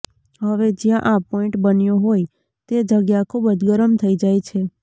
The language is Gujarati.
હવે જ્યાં આ પોઇન્ટ બન્યો હોય તે જગ્યા ખૂબ જ ગરમ થઈ જાય છે